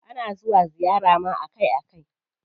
Ana zuwa ziyara ma akai akai.